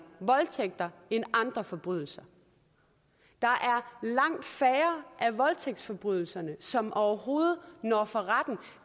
voldtægter end andre forbrydelser der er langt færre af voldtægtsforbrydelserne som overhovedet når at komme for retten